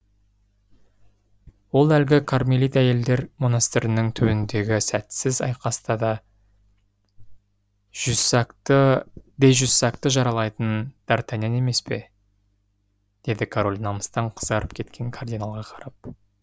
ол әлгі кармелит әйелдер монастырының түбіндегі сәтсіз айқаста де жюссакты жаралайтын д артаньян емес пе деді король намыстан қызарып кеткен кардиналға қарап